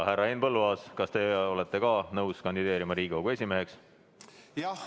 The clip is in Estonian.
Härra Henn Põlluaas, kas teie olete ka nõus kandideerima Riigikogu esimeheks?